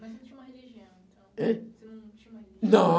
Mas você não tinha uma religião, então? Ãh? Você não tinha uma religião? Não.